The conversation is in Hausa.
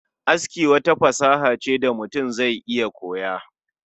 Aski wata fasaha ce da mutum zai iya koya